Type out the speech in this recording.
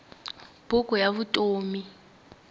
buku ya vutom